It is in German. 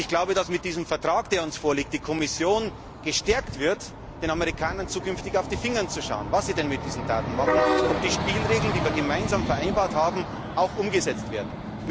Ich glaube, dass mit diesem Vertrag, der uns vorliegt, die Kommission gestärkt wird, den Amerikanern zukünftig auf die Finger zu schauen, was sie denn mit diesen Daten machen, ob die Spielregeln, die wir gemeinsam vereinbart haben, auch umgesetzt werden.